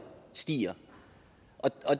stiger der